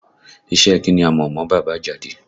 Iṣẹ́ ẹ kí ni a mọ̀ mọ bàbá Àjàdí?